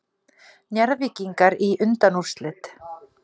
Njarðvíkingar í undanúrslit